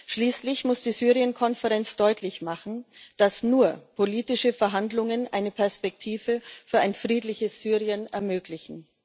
Schließlich muss die Syrien Konferenz deutlich machen, dass nur politische Verhandlungen eine Perspektive für ein friedliches Syrien ermöglichen.